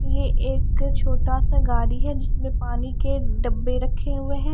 यह एक छोटा सा गाड़ी है जिसमें पानी के डब्बे रखे हुए हैं।